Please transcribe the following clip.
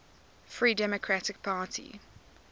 free democratic party